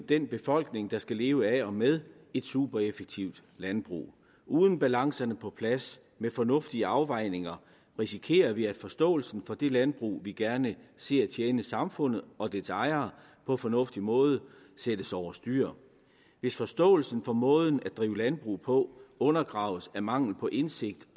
den befolkning der skal leve af og med et supereffektivt landbrug uden balancerne på plads med fornuftige afvejninger risikerer vi at forståelsen for det landbrug vi gerne ser tjene samfundet og dets ejere på fornuftig måde sættes over styr hvis forståelsen for måden at drive landbrug på undergraves af mangel på indsigt